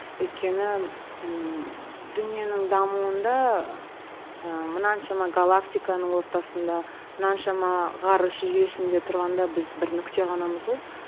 өйткені ыыы дүниенің дамуында ыыы мынаншама галактиканың ортасында мынаншама ғарыш жүйесінде тұрғанда біз бір нүкте ғанамыз ғой